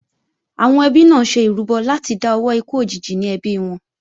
Àwọn ẹbí náà ṣe ìrúbọ láti dá owó ikú òjijì ní ẹbí wọn